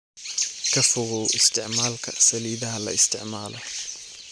Ka fogow isticmaalka saliidaha la isticmaalo.